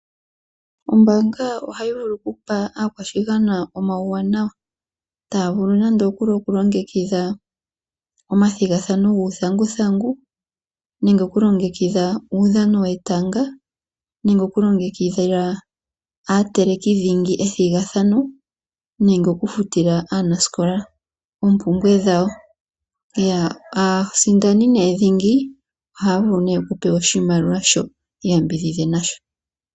Ombaanga ohayi vulu okupa aakwashigwana omawuwanawa taya vulu nande okulongekidha omathigathano guuthanguthangu, nenge oku longekidha uudhano wetanga nenge okulongekidhila aateleki dhingi ethigathano nenge okufutila aanasikola oompumbwe dhawo. aasindani dhingi ohaya vulu okupewa oshimaliwa shoka yi iyambidhidhe nasho.